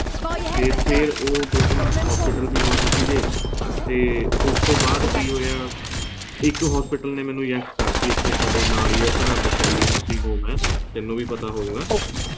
ਤੇ ਫੇਰ ਉਹ ਦੋ ਤਿੰਨ hospital ਵੀ ਬੰਦ ਸੀਗੇ ਤੇ ਉਸ ਤੋਂ ਬਾਅਦ ਕਿ ਹੋਇਆਇੱਕ hospital ਨੇ ਮੈਨੂੰ yes ਕਰਤੀ ਇੱਥੇ ਨਾਲ ਹੀ ਹੈ ਸਾਡੇ ਸਰਹਿੰਦ ਸ਼ੈਲੀ nursing home ਹੈ ਤੇਨੂੰ ਵੀ ਪਤਾ ਹੋਊਗਾ